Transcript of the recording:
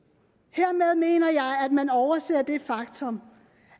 hermed mener jeg at man overser det faktum